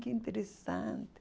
Que interessante.